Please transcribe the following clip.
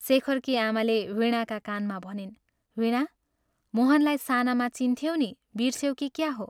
शेखरकी आमाले वीणाका कानमा भनिन्, "वीणा, मोहनलाई सानामा चिन्थ्यौ नि बिर्स्यौ कि क्या हो?